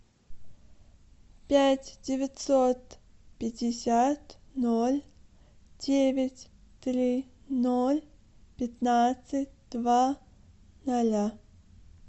пять девятьсот пятьдесят ноль девять три ноль пятнадцать два ноля